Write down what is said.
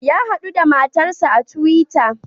Ya hadu da matarsa a twitter.